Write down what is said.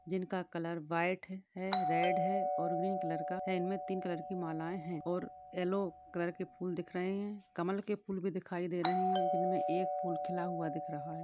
जिनका colour white है red है और ग्रीन कलर का है इनमे तीन कलर कि मालाए है और यल्लो कलर के फुल दिख रहे है कमल के फुल भी दिखाई दे रहे है जिनमे एक फुल खीला हुआ दिख रहा है।